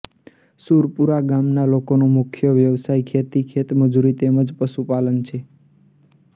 સુરપુરા ગામના લોકોનો મુખ્ય વ્યવસાય ખેતી ખેતમજૂરી તેમ જ પશુપાલન છે